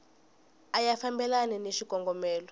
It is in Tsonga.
a ya fambelani ni xikongomelo